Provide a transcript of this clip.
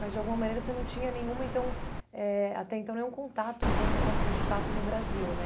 Mas de alguma maneira você não tinha nenhuma então eh, até então, nenhum contato com o que acontecia de fato no Brasil, né?